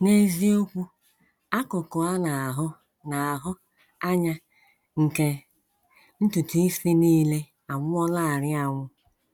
N’eziokwu, akụkụ a na - ahụ na - ahụ anya nke ntutu isi nile anwụọlarị anwụ.